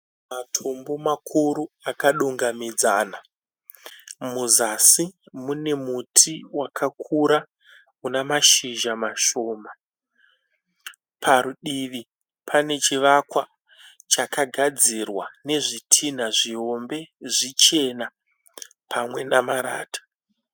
Matombo makuru akadungamidzana. Muzasi mune muti wakakura unamashizha mashoma. Padivi panechivakwa chakagadzirwa nezvitinha zvihombe zvichena pamwe namarata.